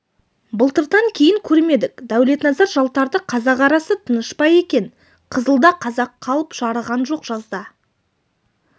былтырдан кейін көрмедік дәулетназар жалтарды қазақ арасы тыныш па екен қызылда қазақ қалып жарыған жоқ жазда